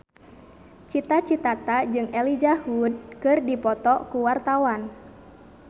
Cita Citata jeung Elijah Wood keur dipoto ku wartawan